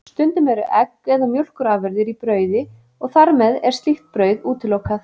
Stundum eru egg eða mjólkurafurðir í brauði og þar með er slíkt brauð útilokað.